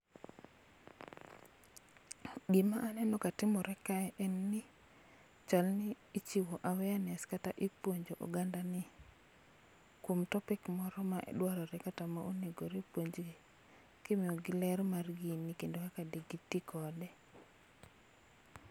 Gima aneno ka timore kae en ni, chal ni ichiwo awareness kata ipuonjo oganda ni kuom topic moro ma dwarore kata ma onegore puonjgi. Kimiyogi ler mar gini kendo kaka de gitii kode